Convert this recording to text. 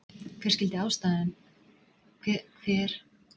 Hver skyldi vera ástæðan fyrir þessari auknu markaskorun?